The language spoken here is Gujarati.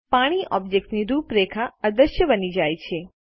પાણી ઓબ્જેક્ટની રૂપરેખા અદ્રશ્ય બની જાય છે